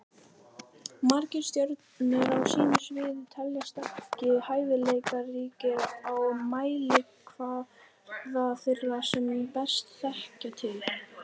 Margir stjörnur á sínu sviði teljast ekki hæfileikaríkar á mælikvarða þeirra sem best þekkja til.